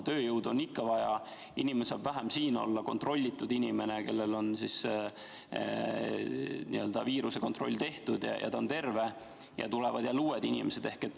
Tööjõudu on ikka vaja, aga inimene saab vähem siin olla, see kontrollitud inimene, kellel on viirusekontroll tehtud, kes on terve, ja tulevad jälle uued inimesed.